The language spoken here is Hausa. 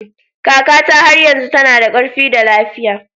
Kakata har yanzu tana da ƙarfi da lafiya